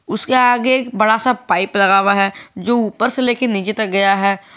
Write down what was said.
उसके आगे एक बड़ा सा पाइप लगा हुआ है जो ऊपर से लेके नीचे तक गया है।